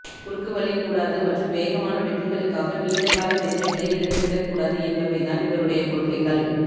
குறுக்கு வழிகூடாது மற்றும் வேகமான வெற்றிகளுக்காக நீண்ட கால பெருமைகளை இழந்து விடக் கூடாதுஎன்பவை தான் இவருடைய கொள்கைகள்